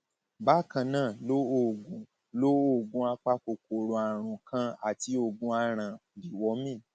bákan náà lo oògùn lo oògùn apakòkòrò àrùn kan àti oògùn aràn deworming